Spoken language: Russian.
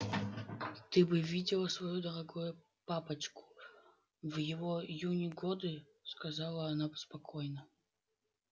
ты бы видела своего дорогого папочку в его юные годы сказала она спокойно